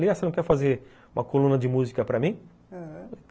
Ah, você não quer fazer uma coluna de música para mim? ãh